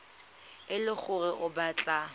e le gore o batla